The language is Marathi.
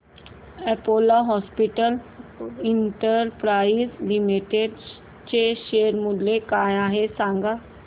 अपोलो हॉस्पिटल्स एंटरप्राइस लिमिटेड चे शेअर मूल्य काय आहे सांगा